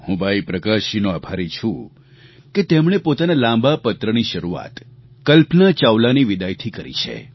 હું ભાઈ પ્રકાશજીનો આભારી છું કે તેમણે પોતાના લાંબા પત્રની શરૂઆત કલ્પના ચાવલાની વિદાયથી કરી છે